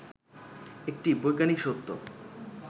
একটি বৈজ্ঞানিক সত্য